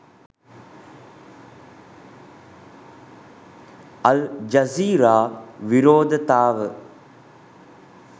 අල් Jazeera විරෝධතාව